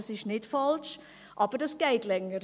Dies ist nicht falsch, aber das dauert länger.